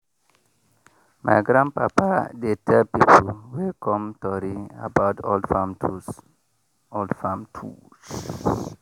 my grandpapa dey tell people wey come tori about old farm tools. old farm tools.